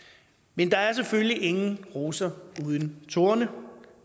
men der er selvfølgelig ingen roser uden torne